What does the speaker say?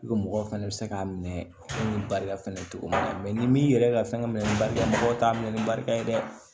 Ko mɔgɔw fɛnɛ bɛ se k'a minɛ ni barika fana cogo min na ni min yɛrɛ ka fɛn ka minɛ minɛ ni barika mɔgɔw t'a minɛ ni barika ye dɛ